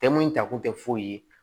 Tɛmɛn in ta kun tɛ foyi ye